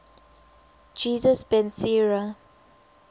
jesus ben sira